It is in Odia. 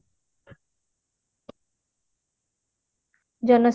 ଜନ